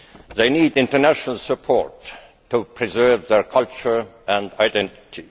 They need international support to preserve their culture and identity.